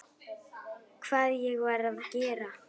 Hvað ég var að gera?